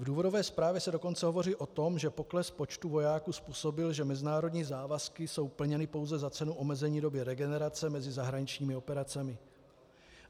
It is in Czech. V důvodové zprávě se dokonce hovoří o tom, že pokles počtu vojáků způsobil, že mezinárodní závazky jsou plněny pouze za cenu omezení doby regenerace mezi zahraničními operacemi.